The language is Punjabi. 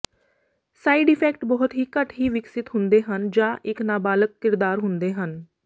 ਸਾਇਡ ਇਫੈਕਟ ਬਹੁਤ ਹੀ ਘੱਟ ਹੀ ਵਿਕਸਤ ਹੁੰਦੇ ਹਨ ਜਾਂ ਇੱਕ ਨਾਬਾਲਗ ਕਿਰਦਾਰ ਹੁੰਦੇ ਹਨ